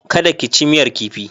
Kada ka ci miyar kifi.